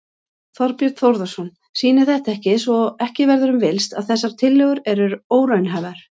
Þorbjörn Þórðarson: Sýnir þetta ekki, svo ekki verður um villst, að þessar tillögur eru óraunhæfar?